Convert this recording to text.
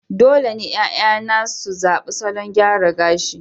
dole ne 'ya'yana su zaɓi salon gyara gashi